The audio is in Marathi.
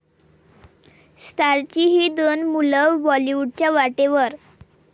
स्टार्सची ही दोन मुलं बाॅलिवूडच्या वाटेवर